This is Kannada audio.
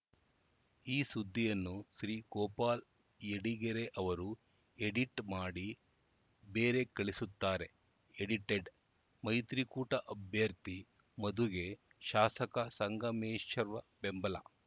ಈ ಸುದ್ದಿಯನ್ನು ಶ್ರೀ ಗೋಪಾಲ್‌ ಯಡಿಗೆರೆ ಅವರು ಎಡಿಟ್‌ ಮಾಡಿ ಬೇರೆ ಕಳಿಸುತ್ತಾರೆ ಎಡಿಟೆಡ್‌ ಮೈತ್ರಿಕೂಟ ಅಭ್ಯರ್ಥಿ ಮಧುಗೆ ಶಾಸಕ ಸಂಗಮೇಶ್ವರ್‌ ಬೆಂಬಲ